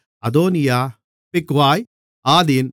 அதோனியா பிக்வாய் ஆதீன்